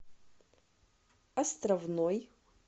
островной